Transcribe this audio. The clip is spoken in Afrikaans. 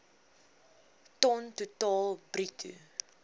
ton totaal bruto